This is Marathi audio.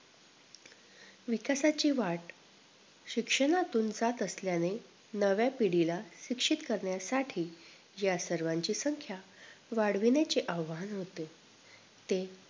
विकासाची वाट शिक्षणातून जात असल्याने नव्या पिढीला शिक्षित करण्यासाठी या सर्वांची संख्या वाढविण्याचे आव्हान होते ते